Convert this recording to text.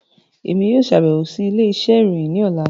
Emi yoo ṣabẹwo si ile-iṣẹ irohin ni ọla.